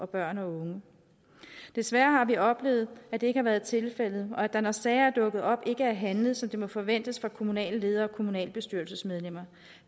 børn og unge desværre har vi oplevet at det ikke har været tilfældet og at der når sager er dukket op ikke er handlet som det må forventes af kommunale ledere og kommunalbestyrelsesmedlemmer